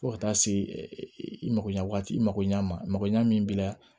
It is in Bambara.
Fo ka taa se i makoɲɛ waati i makoɲɛ mako ɲɛ min b'i la